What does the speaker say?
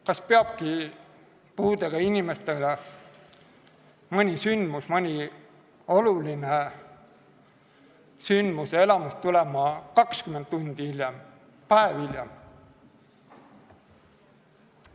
Kas puudega inimestele peabki mõni sündmus, mõni oluline sündmus ja elamus jõudma kätte 20 tundi hiljem, päev hiljem?